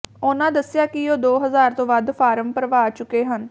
ਉਨ੍ਹਾਂ ਦੱਸਿਆ ਕਿ ਉਹ ਦੋ ਹਜ਼ਾਰ ਤੋਂ ਵੱਧ ਫਾਰਮ ਭਰਵਾ ਚੁੱਕੇ ਹਨ